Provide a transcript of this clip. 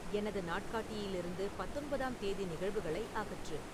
எனது நாட்காட்டியிலிருந்து பத்தொன்பதாம் தேதி நிகழ்வுகளை அகற்று